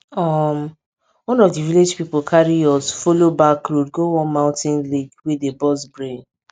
um one of di village pipo carry us follow back road go one mountain lake wey dey burst brain